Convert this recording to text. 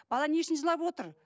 бала не үшін жылап отыр